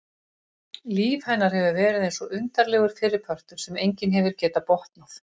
Líf hennar hefur verið eins og undarlegur fyrripartur sem enginn hefur getað botnað.